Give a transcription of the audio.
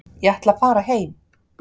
Ég ætla að fara heim.